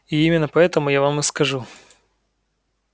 и именно поэтому я вам и скажу